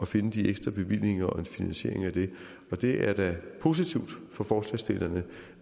finde de ekstra bevillinger og en finansiering af det og det er da positivt for forslagsstillerne